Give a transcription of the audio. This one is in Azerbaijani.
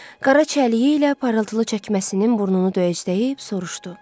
Qara çəliyi ilə parıltılı çəkməsinin burnunu döyəcləyib soruşdu.